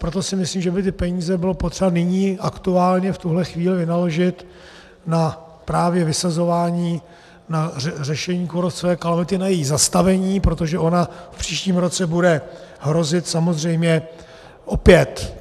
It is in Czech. Proto si myslím, že by ty peníze bylo potřeba nyní aktuálně v tuto chvíli vynaložit na právě vysazování, na řešení kůrovcové kalamity, na její zastavení, protože ona v příštím roce bude hrozit samozřejmě opět.